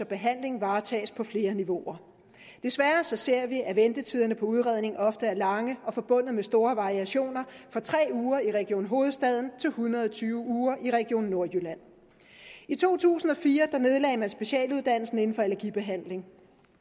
behandling varetages på flere niveauer desværre ser vi at ventetiderne på udredning ofte er lange og forbundet med store variationer fra tre uger i region hovedstaden til en hundrede og tyve uger i region nordjylland i to tusind og fire nedlagde man specialuddannelsen inden for allergibehandling